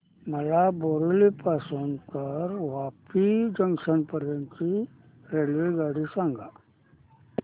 मला बोरिवली पासून तर वापी जंक्शन पर्यंत ची रेल्वेगाडी सांगा